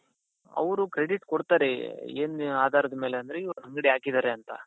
ಅವರು credit ಕೊಡ್ತಾರೆ ಏನು ಆಧಾರಾದ ಮೇಲೆ ಅಂದ್ರೆ ಇವರು ಅಂಗಡಿ ಹಾಕಿದ್ದಾರೆ ಅಂತ.